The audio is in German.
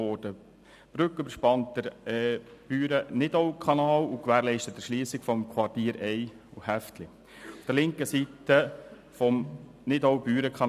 Die Brücke überspannt den Büren-Nidau-Kanal und gewährleistet die Erschliessung des Quartiers Ey/Häftli auf der linken Seite des Nidau-Büren-Kanals.